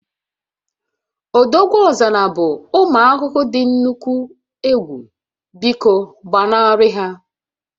Odogwuọzara bụ ụmụ ahụhụ dị nnukwu egwu, biko gbanarị ha